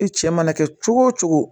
I cɛ mana kɛ cogo o cogo